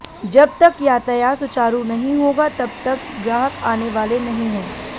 जब तक यातायात सुचारु नहीं होगा तब तक ग्राहक आने वाले नहीं हैं